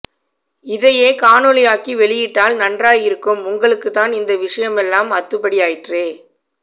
இதையே காணொளியாக்கி வெளியிட்டால் நன்றாய் இருக்கும் உங்களுக்குத்தான் இந்த விஷயமெல்லாம் அத்துபடி ஆயிற்றே